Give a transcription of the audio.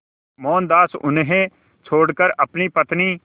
मोहनदास उन्हें छोड़कर अपनी पत्नी